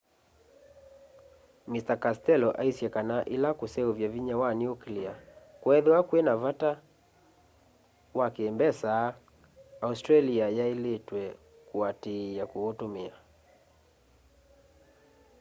mr castello aisye kana ila kuseuvya vinya wa nuclear kwethiwa kwina vata wa ki mbesa australia yailitwe kuatiia kuutumia